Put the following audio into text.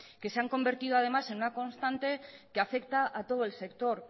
que se han convertido además en una constante que afecta a todo el sector